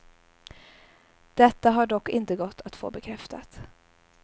Detta har dock inte gått att få bekräftat.